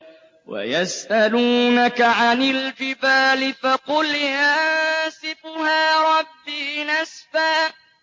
وَيَسْأَلُونَكَ عَنِ الْجِبَالِ فَقُلْ يَنسِفُهَا رَبِّي نَسْفًا